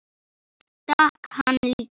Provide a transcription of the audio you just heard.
Ég stakk hann líka.